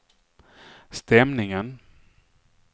stämningen